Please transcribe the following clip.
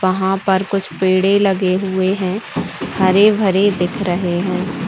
वहाँ पर कुछ पेड़े लगे हुए है हरे-भरे दिख रहे है।